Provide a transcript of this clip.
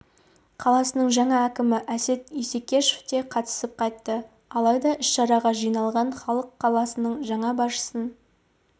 қаласының жаңа әкімі әсет исекешев те қатысып қайтты алайда іс-шараға жиналған халық қаланың жаңа басшысын